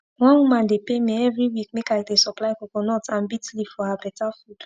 one woman dey pay me everi week make i dey supply coconut and bits leaf for her beta food